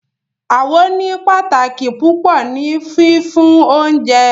Awo ní pàtàkì púpọ ni fífún oúnjẹ